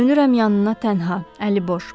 Dönürəm yanına tənha, əliboş.